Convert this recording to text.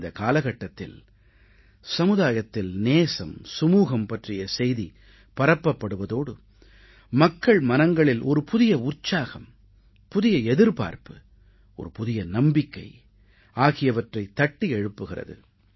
இந்தக் காலகட்டத்தில் சமுதாயத்தில் நேசம் சுமூகம் பற்றிய செய்தி பரப்பப்படுவதோடு மக்கள் மனங்களில் ஒரு புதிய உற்சாகம் புதிய எதிர்பார்ப்பு ஒரு புதிய நம்பிக்கை ஆகியவற்றைத் தட்டி எழுப்புகிறது